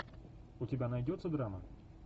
у тебя найдется драма